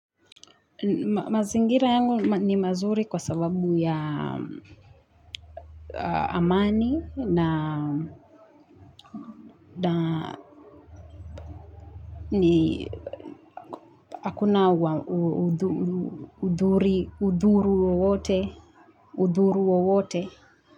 Mazingira yangu ni mazuri kwa sababu ya amani na hakuna udhuru wowote.